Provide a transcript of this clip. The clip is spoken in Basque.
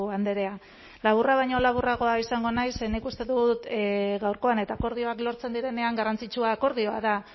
andrea laburra baino laburragoa izango naiz ze nik uste dut gaurkoan eta akordioak lortzen direnean garrantzitsua akordioa da